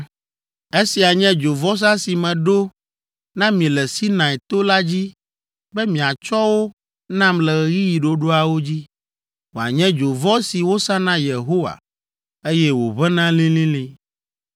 Esia nye dzovɔsa si meɖo na mi le Sinai to la dzi be miatsɔ wo nam le ɣeyiɣi ɖoɖoawo dzi, wòanye dzovɔ si wosa na Yehowa, eye wòʋẽna lĩlĩlĩ.